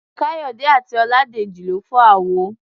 Káyọ̀dé àti Ọládèjì lọ fọ́ àwo.